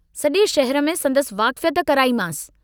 सजे शहर में संदसि वाकिफ़यत कराई मांस।